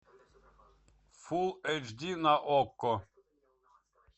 фулл эйч ди на окко